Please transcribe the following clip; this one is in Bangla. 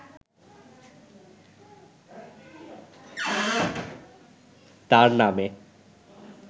তার নামে